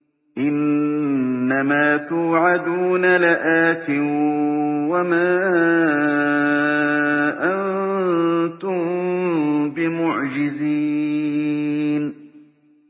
إِنَّ مَا تُوعَدُونَ لَآتٍ ۖ وَمَا أَنتُم بِمُعْجِزِينَ